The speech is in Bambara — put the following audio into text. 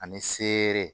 Ani seere